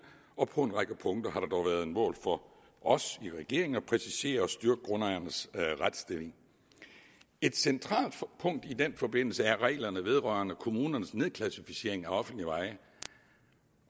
på en række punkter har det dog været et mål for os i regeringen at præcisere og styrke grundejernes retsstilling et centralt punkt i den forbindelse er reglerne vedrørende kommunernes nedklassificering af offentlige veje